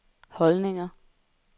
holdninger